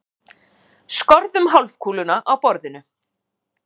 Skorðum hálfkúluna á borðinu.